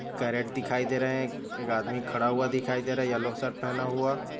carat दिखाई दे रहे है एक आदमी खड़ा हुआ दिखाई दे रहा है येलो शर्ट पहना हुआ--